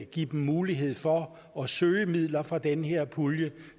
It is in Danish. give dem mulighed for at søge midler fra den her pulje